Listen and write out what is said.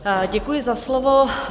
Děkuji za slovo.